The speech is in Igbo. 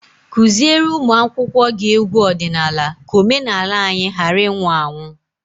Teach your pupils folk songs so that our culture will not die.